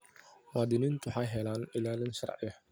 Muwaadiniintu waxay helaan ilaalin sharci.